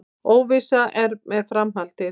Óvissa er með framhaldið